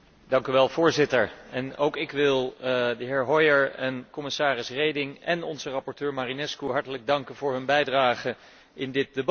Voorzitter, ook ik wil de heer Hoyer en commissaris Reding, en onze rapporteur Marinescu hartelijk danken voor hun bijdrage in dit debat.